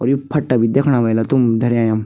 और यु फट्टा भी दैखणा व्हेला तुम धर्या यम।